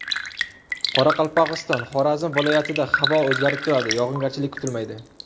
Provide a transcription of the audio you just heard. Qoraqalpog‘iston, Xorazm viloyatida havo o‘zgarib turadi, yog‘ingarchilik kutilmaydi.